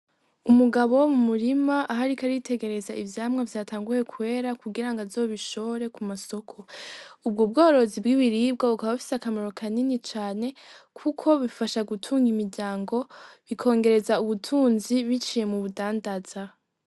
Umugabo mu murima aho ariko aritegereza ivyamwa vyatanguye kwera kugirango azobishore ku masoko ubwo bworozi bw'ibiribwa bukaba bufise akamaro kanini cane kuko bifasha gutunga imiryango bikongereza ubutunzi biciye murudandaza.